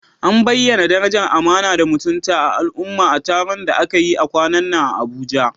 An bayyana darajar amana da mutunta al'umma a taron da aka yi kwanan nan a Abuja?